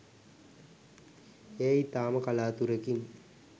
ඒ ඉතාම කලාතුරෙකින්.